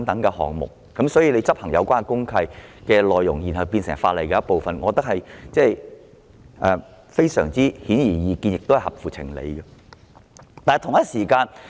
因此，將履行公契的要求納入成為法例的一部分，我認為這是顯而易見合情合理的做法。